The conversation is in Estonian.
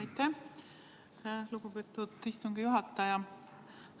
Aitäh, lugupeetud istungi juhataja!